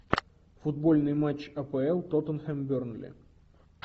футбольный матч апл тоттенхэм бернли